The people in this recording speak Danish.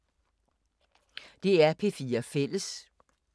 DR P4 Fælles